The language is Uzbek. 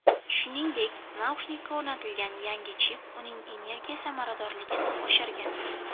Shuningdek, naushnikka o‘rnatilgan yangi chip uning energiya samaradorligini oshirgan.